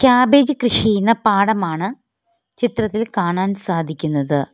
Cabbage കൃഷി ചെയ്യുന്ന പാടമാണ് ചിത്രത്തിൽ കാണാൻ സാധിക്കുന്നത്.